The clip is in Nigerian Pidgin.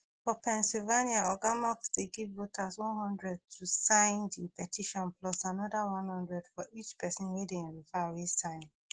for pennsylvania oga musk dey give voters one hundred to sign di petition plus anoda one hundred for each pesin dem refer wey sign